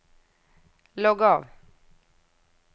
logg av